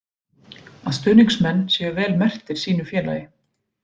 Að stuðningsmenn séu vel merktir sínu félagi.